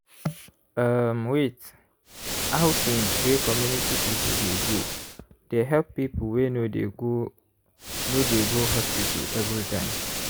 erm wait- outing wey community people dey go they help people wey no dey go no dey go hospital everytime.